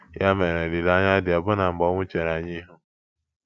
Ya mere, olileanya dị ọbụna mgbe ọnwụ chere anyị ihu.